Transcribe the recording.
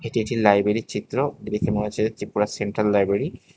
এটি একটি লাইব্রেরির চিত্র দেখে মনে হচ্ছে যে ত্রিপুরার সেন্ট্রাল লাইব্রেরি ।